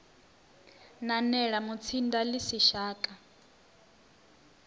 nanela mutsinda ḽi si shaka